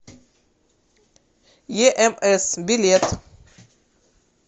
емс билет